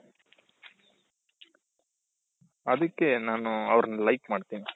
ಅದಿಕ್ಕೆ ನಾನು ಅವರನ್ನ like ಮಾಡ್ತೀನಿ